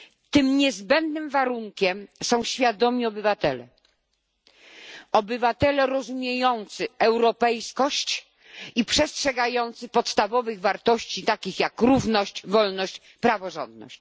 Tym niezbędnym warunkiem są świadomi obywatele, obywatele rozumiejący europejskość i przestrzegający podstawowych wartości takich jak równość, wolność, praworządność.